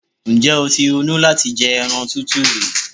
Ǹjẹ́́ o ti ronú láti jẹ ẹran tútù rí?